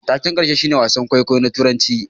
Taken karshe shine wasan kwaikwayo na Turanci